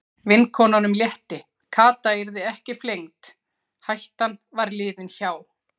Vinkonunum létti, Kata yrði ekki flengd, hættan var liðin hjá.